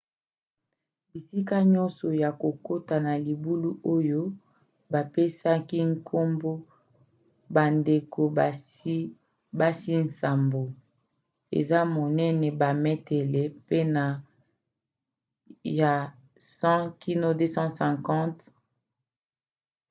bisika nyonso ya kokota na libulu oyo bapesaki nkombo bandeko-basi nsambo, eza monene bametele pene ya 100 kino 250 328 to 820 feet